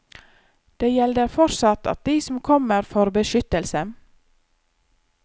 Det gjelder fortsatt at de som kommer får beskyttelse.